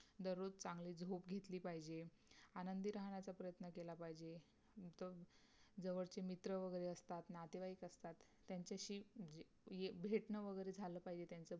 ज़रूर चगली खोली पहिचे आनादी रहण पहिचे जावर ची मित्र वगरे नियते वगरे पहिचे